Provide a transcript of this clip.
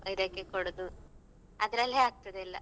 ಇದಕ್ಕೆ ಕೊಡುದು ಅದ್ರಲ್ಲೇ ಆಗ್ತದೆ ಎಲ್ಲ.